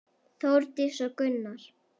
Þórdís og Gunnar.